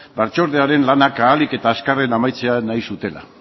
batzordearen lanak ahalik eta azkarren amaitzea nahi zutela